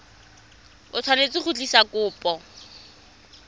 o tshwanetse go tlisa kopo